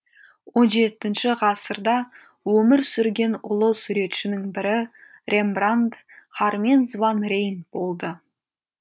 он жетінші ғасырда өмір сүрген ұлы суретшінің бірі рембрандт харменс ван рейн болды